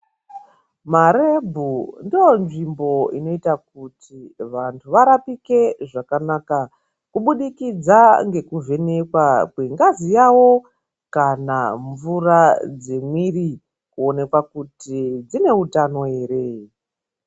Marebhu ndonzvimbo inoita kuti vantu varapike zvakanaka kubudikidza ngekuvhenekwa kwengazi yavo kana mvura dzemwiri kuonekwa kuti dzine utano ere.